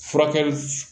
Furakɛli